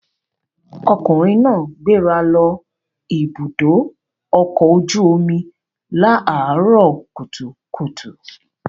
Ọkùnrin náà gbéra lọ Ibùdó-ọkọ̀ ojú-omi láàárọ̀ kùtùkùtù.